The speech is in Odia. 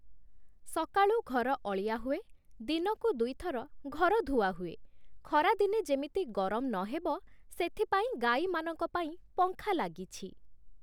ସକାଳୁ ଘର ଅଳିଆ ହୁଏ, ଦିନକୁ ଦୁଇଥର ଘର ଧୁଆ ହୁଏ, ଖରା ଦିନେ ଯେମିତି ଗରମ ନହେବ ସେଥିପାଇଁ ଗାଈମାନଙ୍କ ପାଇଁ ପଙ୍ଖା ଲାଗିଛି ।